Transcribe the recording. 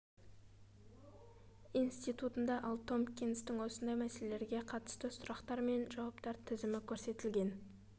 институтында ал томпкинстің осындай мәселелерге қатысты сұрақтар мен жауаптар тізімі көрсетілген